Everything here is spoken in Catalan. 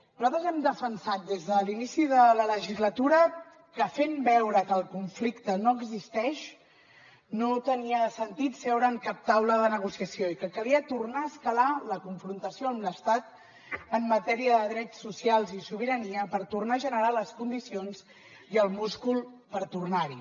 nosaltres hem defensat des de l’inici de la legislatura que fent veure que el conflicte no existeix no tenia sentit seure en cap taula de negociació i que calia tornar a escalar la confrontació amb l’estat en matèria de drets socials i sobirania per tornar a generar les condicions i el múscul per tornar hi